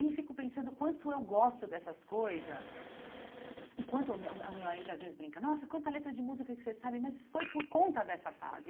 E fico pensando o quanto eu gosto dessas coisas e quanto o meu marido às vezes brinca, nossa, quanta letra de música que você sabe, mas foi por conta dessa fase.